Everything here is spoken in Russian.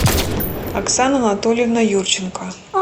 оксана анатольевна юрченко